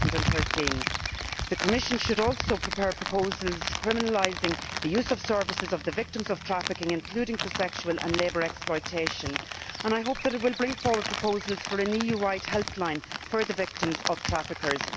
2013. The Commission should also prepare proposals criminalising the use of services of victims of trafficking, including for sexual and labour exploitation, and I hope that it will bring forward proposals for an EU wide helpline for the victims of traffickers.